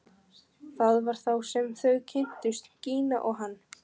Það var þá sem þau kynntust, Gína og hann.